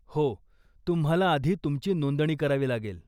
हो, तुम्हाला आधी तुमची नोंदणी करावी लागेल.